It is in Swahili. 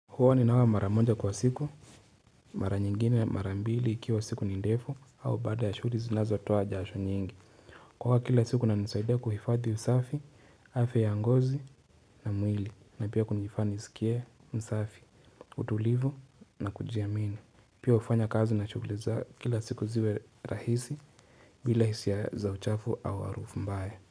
Hua ninaoga mara moja kwa siku, mara nyingine mara mbili ikiwa siku ni ndefu, au bada ya shuri zinazotoa jasho nyingi. Kuoga kila siku inaisaida kuhifadhi usafi, hafya ya ngozi na mwili, na pia kunifanya nisikie msafi, utulivu na kujiamini. Pia hufanya kazi na shugli za kila siku ziwe rahisi bila hisia za uchafu au arufu mbaya.